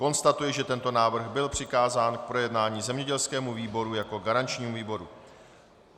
Konstatuji, že tento návrh byl přikázán k projednání zemědělskému výboru jako garančnímu výboru.